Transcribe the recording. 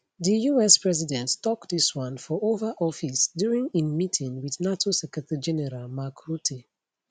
di us president tok dis one for oval office during im meeting wit nato secretarygeneral mark rutte